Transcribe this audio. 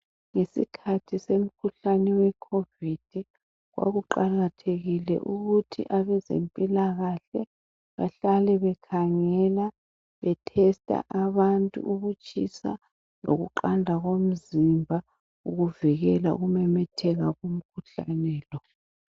Yisikhathi somkhuhlane we COVID. Kwakuqakathekile ukuthi abezempilakahle bahlale bekhangela behlola abantu ukutshisa lokuqanda komzimba ukuvikela ukumemetheka komkhuhlane lo.